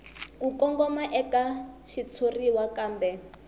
ku kongoma eka xitshuriwa kambe